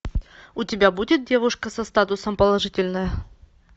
у тебя будет девушка со статусом положительная